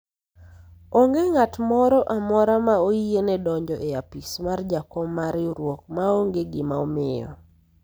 onge ng'at moro amora ma oyiene donjo e apis mar jakom mar riwruok maonge gima omiyo